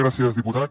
gràcies diputat